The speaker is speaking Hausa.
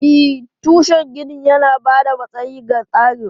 E, tushen ginin yana ba da matsayi ga tsarin.